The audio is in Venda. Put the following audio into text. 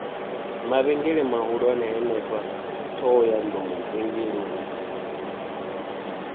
mavhengele mahulwane henefha ṱhohoyanḓou vhengeleni